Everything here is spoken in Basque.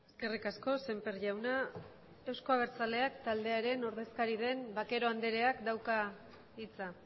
eskerrik asko semper jauna euzko abertzaleak taldearen ordezkari den bakero andereak dauka hitza